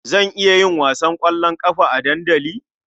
Zan iya yin wasan ƙwallon ƙafa a dandali?